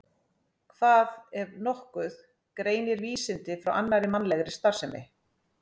Hvað, ef nokkuð, greinir vísindi frá annarri mannlegri starfsemi?